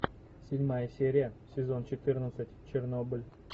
седьмая серия сезон четырнадцать чернобыль